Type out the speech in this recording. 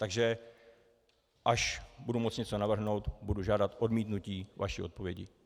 Takže až budu moct něco navrhnout, budu žádat odmítnutí vaší odpovědi.